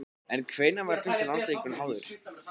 En hvenær var fyrsti landsleikurinn háður?